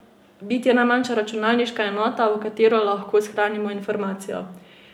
Bit je najmanjša računalniška enota, v katero lahko shranimo informacijo.